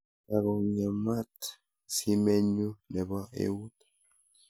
Kakong'emat simennyu ne po eut